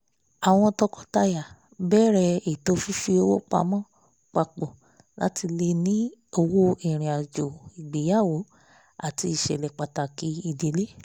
àwọn tọkọtaya bẹ̀rẹ̀ ètò fífi owó pamọ́ pàpọ̀ láti lè ní owó irin-ajo ìgbéyàwó àti iṣẹ̀lẹ̀ pàtàkì ìdílé